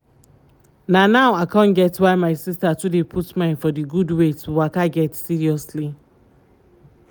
na now i con get why my sister too dey put mind for d gud wey to waka get seriously.